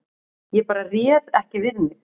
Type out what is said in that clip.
Ég bara réð ekki við mig